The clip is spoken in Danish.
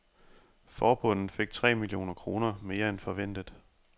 Forbundet fik tre millioner kroner mere end forventet.